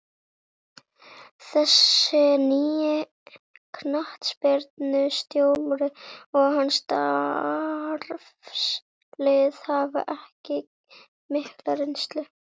Þessi nýi knattspyrnustjóri og hans starfslið hafa ekki mikla reynslu.